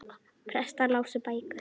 Prestar lásu bækur.